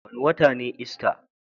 Wanda wata ne ista.